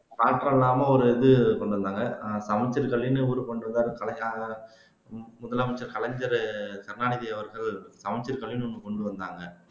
மாற்றம் இல்லாம ஒரு இது கொண்டுவந்தாங்க அஹ் சமச்சீர் கல்வின்னு இவர் கொண்டு வந்தார் கலைஞர் முதலமைச்சர் கலைஞர் கருணாநிதி அவர்கள் சமச்சீர் கல்வின்னு ஒண்ணு கொண்டு வந்தாங்க